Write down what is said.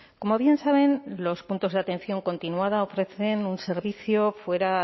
como bien saben los puntos de atención continuada ofrecen un servicio fuera